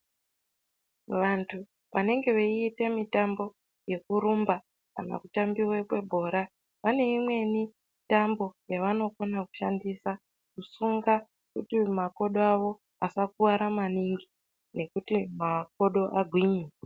Vantu vanenge veiite mitambo yekurumba kana kutambive kwebhora. Pane imweni tambo yavanokona kushandisa kusunga kuti makodoavo asakuvara maningi nekuti makodo agwinye.